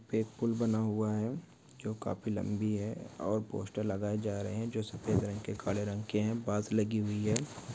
एक पुल बना हुआ है जो काफी लंबी है और पोस्टर लगाए जा रहे हैं जो सफेद रंग के काले रंग के हैं पास लगी हुई है।